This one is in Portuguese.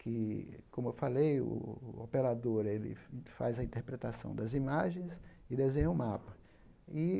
que, como eu falei, o o operador ele faz a interpretação das imagens e desenha o mapa. E